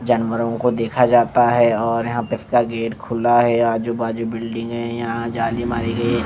जानवरों को देखा जाता है और यहाँ पे इसका गेट खुला है आजू-बाजू बिल्डिंगे हैं यहाँ जाली मारी गई है ।